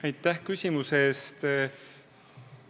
Aitäh küsimuse eest!